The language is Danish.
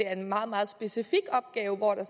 er en meget meget specifik opgave hvor det